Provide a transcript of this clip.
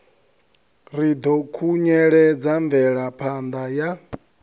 ri ḓo khunyeledza mvelaphanda ya